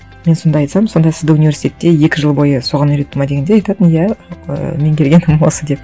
мен сонда айтсам сонда сізді университетте екі жыл бойы соған үйретті ме дегенде айтатын иә і меңгергенім осы деп